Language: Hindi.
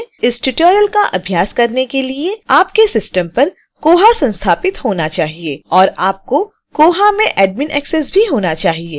इस tutorial का अभ्यास करने के लिए आपके system पर koha संस्थापित होना चाहिए